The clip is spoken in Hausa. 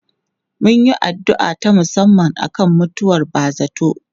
Mun yi addu'a ta musamman akan mutuwar ba zarto.